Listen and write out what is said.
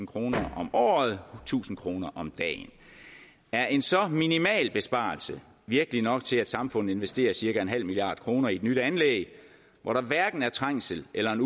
kroner om året tusind kroner om dagen er en så minimal besparelse virkelig nok til at samfundet investerer cirka nul milliard kroner i et nyt anlæg hvor der hverken er trængsel eller en